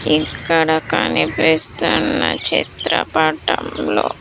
ఇక్కడ కనిపిస్తున్న చిత్రపటంలో --